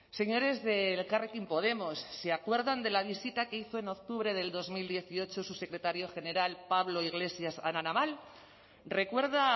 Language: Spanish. señores de elkarrekin podemos se acuerdan de la visita que hizo en octubre del dos mil dieciocho su secretario general pablo iglesias a la naval recuerda